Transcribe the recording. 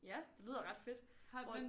Ja det lyder ret fedt hvor